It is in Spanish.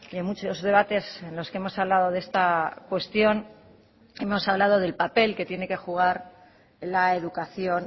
en muchos debates en los que hemos hablado de esta cuestión hemos hablado del papel que tiene que jugar la educación